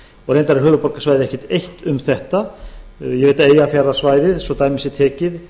reyndar er höfuðborgarsvæðið ekki eitt um þetta ég veit að eyjafjarðarsvæðið svo dæmi sé tekið